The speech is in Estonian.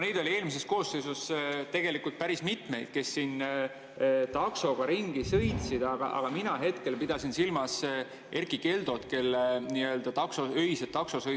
Neid oli eelmises koosseisus tegelikult päris mitmeid, kes taksoga ringi sõitsid, aga mina hetkel pidasin silmas Erkki Keldot, kelle öised taksosõidud ületasid meediakünnise.